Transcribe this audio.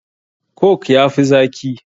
Coke ya fi zaki.